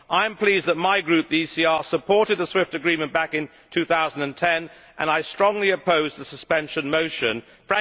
I am pleased that my group, the ECR, supported the SWIFT Agreement back in 2010, and I strongly oppose the motion for suspension.